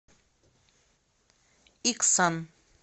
иксан